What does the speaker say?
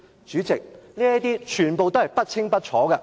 主席，這些問題全部不清不楚。